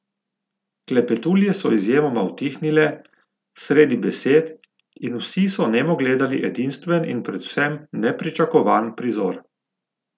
Klepetulje so izjemoma utihnile, sredi besed in vsi so nemo gledali edinstven in predvsem nepričakovan prizor.